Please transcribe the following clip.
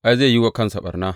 Ai, zai yi wa kansa ɓarna.